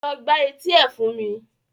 Lọ gbá etí ẹ̀ fún mi!